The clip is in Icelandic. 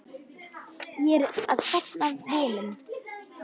Ég er að safna vinum.